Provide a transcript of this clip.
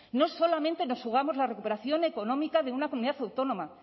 no solamente nos jugamos la recuperación económica de una comunidad autónoma